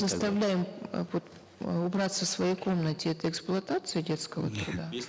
заставляем э вот э убраться в своей комнате это эксплуатация детского труда